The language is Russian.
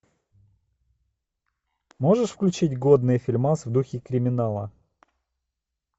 можешь включить годный фильмас в духе криминала